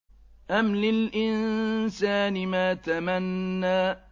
أَمْ لِلْإِنسَانِ مَا تَمَنَّىٰ